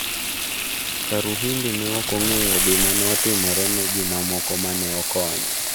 Karuhimbi ne ok ong'eyo gima ne otimore ne ji mamoko mane okonyo.